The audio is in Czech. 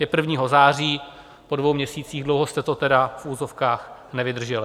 Je 1. září, po dvou měsících, dlouho jste to tedy v uvozovkách nevydrželi.